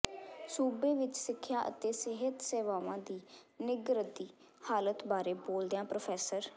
ਸੂਬੇ ਵਿੱਚ ਸਿੱਖਿਆ ਅਤੇ ਸਿਹਤ ਸੇਵਾਵਾਂ ਦੀ ਨਿੱਘਰਦੀ ਹਾਲਤ ਬਾਰੇ ਬੋਲਦਿਆਂ ਪ੍ਰੋ